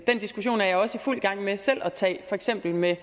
diskussion er jeg også i fuld gang med selv at tage for eksempel med